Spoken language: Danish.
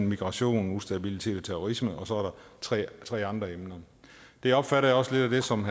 migration ustabilitet terrorisme og tre tre andre emner det opfatter jeg også lidt som